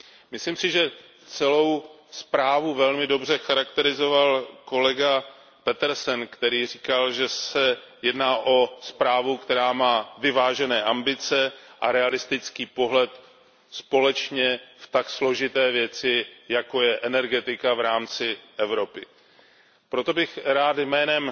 Myslím si, že celou zprávu velmi dobře charakterizoval kolega Petersen, který říkal, že se jedná o zprávu, která má vyvážené ambice a realistický pohled společně v tak složité věci, jako je energetika v rámci Evropy. Proto bych rád jménem